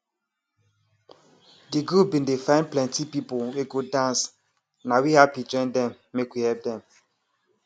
de group bin dey find plenti people wey go dance na we hapi join dem make we help dem